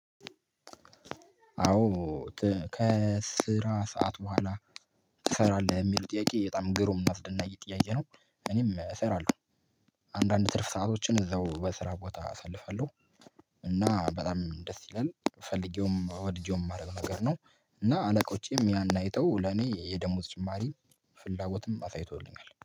አዎ ከስራ ሰዓት ቦኋላ ትሰራለህ? የሚሉ ጥያቄ በጣም ግሩም ነው እናስደናቂ ጥያቄ ነው። እኔም እሰራለሁ አንዳንድ ትርፍ ሰአቶችን እዛው በስራ ቦታ አሳልፋለሁ። እና በጣም ደስ ይላል ፈልጌውም ወድጄውም የማረገው ነገር ነው። እና አለቆቼም ያን አይተው ለኔ የደሞዝ ጭማሪ ፍላጎትም አሳይቶልኛል።